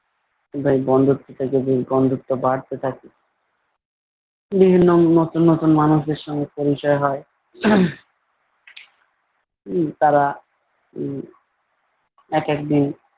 এইভাবে বন্ধুত্ব থেকে ব বন্ধুত্ব বাড়তে থাকে বিভিন্ন নতুন নতুন মানুষেদের সঙ্গে পরিচয় হয়। আহ উম তারা উম এক একদিন,